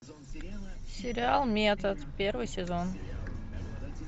сериал метод первый сезон